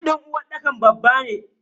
Sif din uwarɗakar babba ne.